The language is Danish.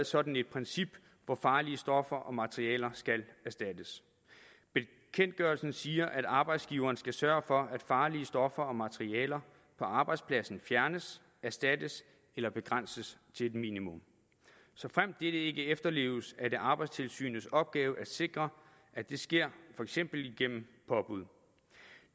sådan et princip hvor farlige stoffer og materialer skal erstattes bekendtgørelsen siger at arbejdsgiveren skal sørge for at farlige stoffer og materialer på arbejdspladsen fjernes erstattes eller begrænses til et minimum såfremt dette ikke efterleves er det arbejdstilsynets opgave at sikre at det sker for eksempel igennem påbud